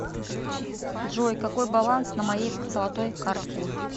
джой какой баланс на моей золотой карте